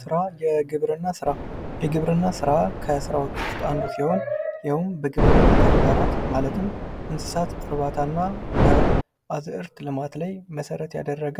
ስራ ፦ የግብርና ስራ ፦የግብርና ስራ ከስራዎች ውስጥ አንዱ ሲሆን ይህውም በግብርና ተግባራት ማለትም በእንስሳት እርባታና በአዝዕርት ልማት ላይ መሠረት ያደረገ